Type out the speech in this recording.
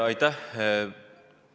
Aitäh!